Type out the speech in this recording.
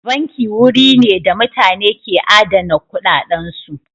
Banki wuri ne da mutane ka adana kuɗaɗansu.